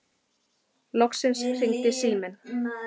Loksins hringdi síminn.